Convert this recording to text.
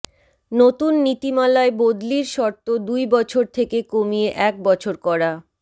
নতুন নীতিমালায় বদলির শর্ত দুই বছর থেকে কমিয়ে এক বছর করা